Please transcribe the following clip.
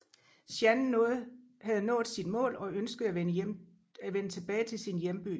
Jeanne havde nået sit mål og ønskede at vende tilbage til sin hjemby